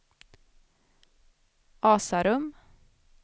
Asarum